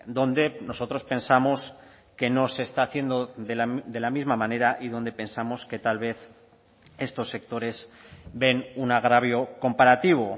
donde nosotros pensamos que no se está haciendo de la misma manera y donde pensamos que tal vez estos sectores ven un agravio comparativo